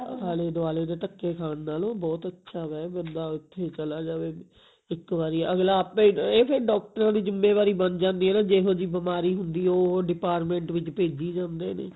ਆਲੇ ਦੁਆਲੇ ਦੇ ਧੱਕੇ ਖਾਨ ਨਾਲੋ ਬਹੁਤ ਅੱਛਾ ਵੈ ਬੰਦਾ ਉੱਥੇ ਹੀ ਚਲਾ ਜਾਵੇ ਇੱਕ ਵਾਰੀ ਅਗਲਾ ਆਪਣੇ ਇਹ ਡਾਕਟਰਾਂ ਦੀ ਜ਼ਿਮੇਵਾਰੀ ਬੰਨ ਜਾਂਦੀ ਹੈ ਨਾ ਜਿਹੋ ਜਿਹੀ ਬਿਮਾਰੀ ਹੁੰਦੀ ਹੈ ਉਹ department ਵਿੱਚ ਭੇਜੀ ਜਾਂਦੇ ਨੇ